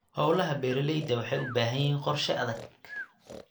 Hawlaha beeralayda waxay u baahan yihiin qorshe adag.